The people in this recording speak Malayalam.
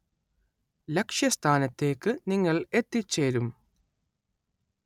ലക്ഷ്യസ്ഥാനത്തേക്ക് നിങ്ങൾ എത്തിച്ചേരും.